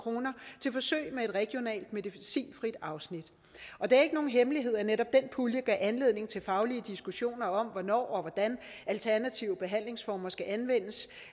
kroner til forsøg med et regionalt medicinfrit afsnit og det er ikke nogen hemmelighed at netop den pulje gav anledning til faglige diskussioner om hvornår og hvordan alternative behandlingsformer skal anvendes